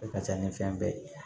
A ka ca ni fɛn bɛɛ ye